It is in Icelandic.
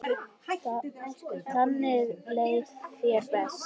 Þannig leið þér best.